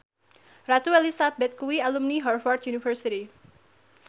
Ratu Elizabeth kuwi alumni Harvard university